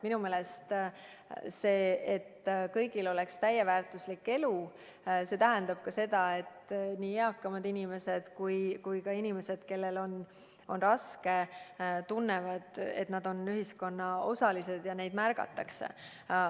Minu meelest see, et kõigil oleks täisväärtuslik elu, tähendab ka seda, et nii eakamad inimesed kui ka inimesed, kellel on raske, tunnevad, et nad on ühiskonna osalised ja neid märgatakse.